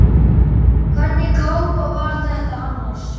Hvernig kápa var þetta annars?